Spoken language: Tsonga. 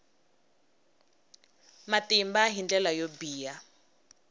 matimba hi ndlela yo biha